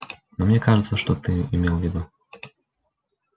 но мне кажется что ты имел в виду